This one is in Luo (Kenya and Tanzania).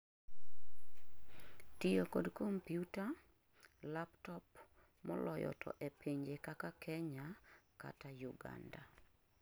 tiyo kod compuita, laptop moloyo to epinje kaka Kenya kata Uganda